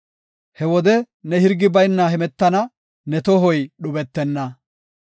He wode ne hirgi bayna hemetana; ne tohoy dhubetenna.